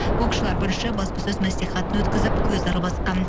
боксшылар бірінші баспасөз мәслихатын өткізіп көз арбасқан